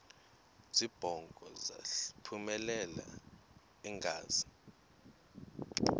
zibongo zazlphllmela engazi